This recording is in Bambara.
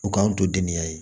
U k'an to denniya ye